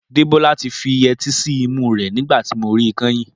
Dẹ́bọ́lá ti fi yẹtí sí imú rẹ̀ nígbà tí mo rí kẹ́yìn